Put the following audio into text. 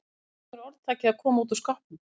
Hvaðan kemur orðtakið að koma út úr skápnum?